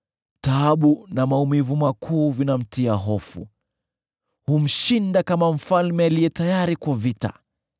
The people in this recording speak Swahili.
Taabu na maumivu makuu vinamtia hofu; humshinda kama mfalme aliye tayari kwa vita,